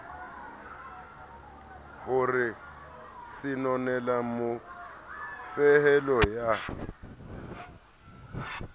ho re senolela mofehelo ya